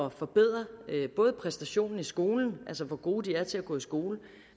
at forbedre både præstationen i skolen altså hvor gode de er til at gå i skole